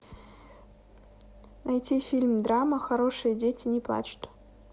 найти фильм драма хорошие дети не плачут